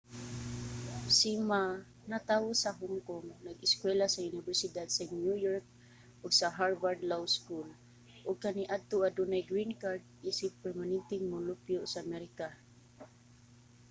si ma natawo sa hong kong nag-eskuwela sa unibersidad sa new york ug sa harvard law school ug kaniadto adunay green card isip permanenteng molupyo sa amerika